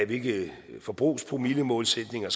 hvilke forbrugspromillemålsætninger